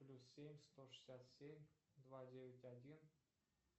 плюс семь сто шестьдесят семь два девять один